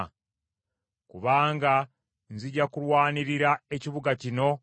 “Ndirwanirira ekibuga kino nkirokole.”